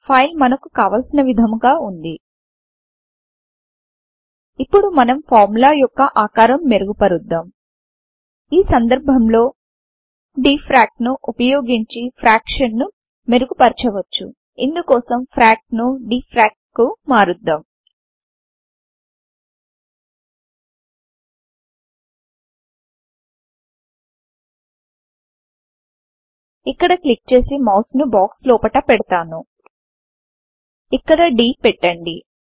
file మనకు కావలిసిన విధముగా వుంది ఇప్పుడు మనం ఫార్ములా యొక్క ఆకారము మెరుగు పరుద్దాం ఈ సందర్భం లో డీఎఫ్ఆర్ఎసీ ను ఉపయోగించి ఫ్రాక్షన్ ను మెరుగు పరచ వచ్చు ఇందుకోసం ఫ్రాక్ ను డీఎఫ్ఆర్ఎసీ కు మారుద్దాం ఇక్కడ క్లిక్ చేసి మౌస్ ను బాక్స్ లోపట పెడుతాను ఇక్కడ d పెట్టండి